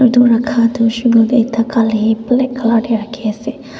etu rakha tu hoise koile ekta gale black colour teh rakhi ase.